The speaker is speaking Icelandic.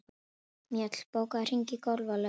Mjöll, bókaðu hring í golf á laugardaginn.